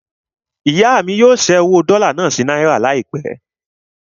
Ìyá mí yóò ṣẹ́ owó dọ́là náà sí náírà láìpẹ́.